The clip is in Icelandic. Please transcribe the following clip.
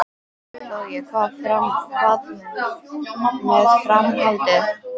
Logi: Hvað með framhaldið?